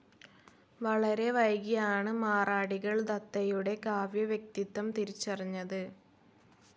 വളരെ വൈകിയാണ് മറാഠികൾ ദത്തയുടെ കാവ്യ വ്യക്തിത്വം തിരിച്ചറിഞ്ഞത്.